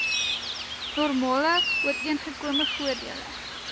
normale ooreengekome voordele